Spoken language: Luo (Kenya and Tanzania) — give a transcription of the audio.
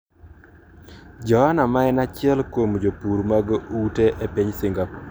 Joanna ma en achiel kuom jopur mag ute e piny Singapore.